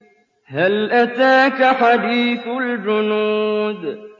هَلْ أَتَاكَ حَدِيثُ الْجُنُودِ